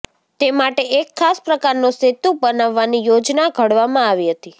તે માટે એક ખાસ પ્રકારનો સેતુ બનાવવાની યોજના ઘડવામાં આવી હતી